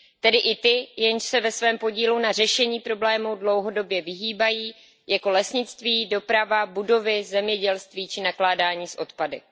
Tedy i ty, jež se svému podílu na řešení problému dlouhodobě vyhýbají, jako lesnictví, doprava, budovy, zemědělství či nakládání s odpady.